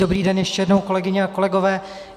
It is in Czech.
Dobrý den ještě jednou, kolegyně a kolegové.